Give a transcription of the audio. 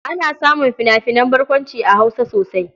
Ana samun fina-finan barkwanci a Hausa sosai.